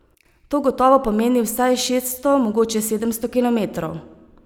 To gotovo pomeni vsaj šeststo, mogoče sedemsto kilometrov.